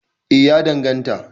eh ya danganta